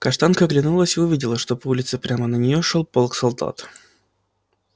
каштанка оглянулась и увидела что по улице прямо на неё шёл полк солдат